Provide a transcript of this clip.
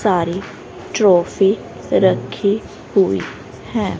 सारी ट्रॉफी रखी हुई हैं।